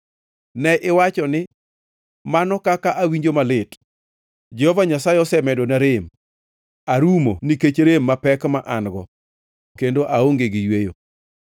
Ne iwacho ni, ‘Mano kaka awinjo malit! Jehova Nyasaye osemedona rem; arumo nikech rem mapek ma an-go kendo aonge gi yweyo.’ ”